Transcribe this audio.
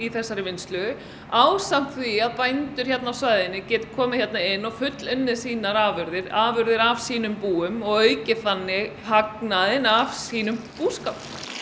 þessari vinnslu ásamt því að bændur hér á svæðinu geti komið hér inn og fullunnið sínar afurðir afurðir af sínum búum og aukið þannig hagnaðinn af sínum búskap